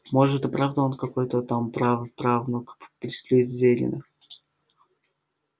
может и правда он какой-то там праправнук слизерина